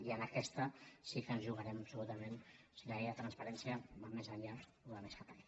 i en aquesta sí que ens jugarem absolutament si la llei de transparència va més enllà o va més cap aquí